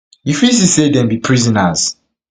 you fit see say dem be prisoners